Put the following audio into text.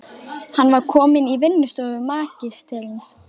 Hann var kominn í vinnustofu magistersins.